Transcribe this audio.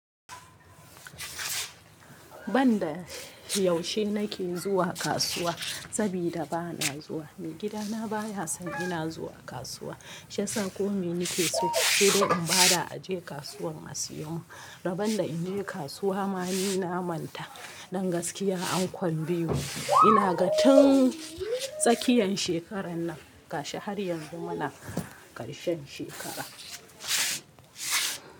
Bani da yaushe nake zuwa kasuwa, sabida bana zuwa mai gidana baya san ina zuwa kasuwa. Shiyasa ko mai nake so sai dai in bada aje kasuwar a siyo mun. Rabon da in je kasuwa ma ni na manta. Dan gaskiya an kwan biyu, ina ga tun tsakiyan shekaran nan gashi har yanzu muna karshen shekara.